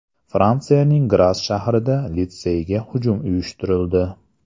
Fransiyaning Gras shahrida litseyga hujum uyushtirildi.